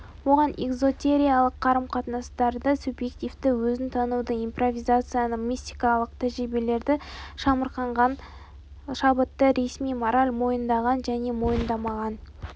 оған эзотериялық қарым-қатынастарды субъективтік өзін тануды импровизацияны мистикалық тәжірибелерді шамырқанған шабытты ресми мораль мойындаған және мойындамаған